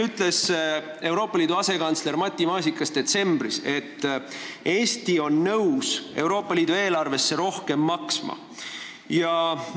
Euroopa asjade asekantsler Matti Maasikas ütles meile detsembris, et Eesti on nõus Euroopa Liidu eelarvesse rohkem sisse maksma.